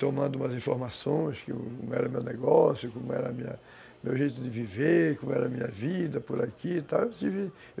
tomando umas informações, como era o meu negócio, como era o meu jeito de viver, como era a minha vida por aqui e tal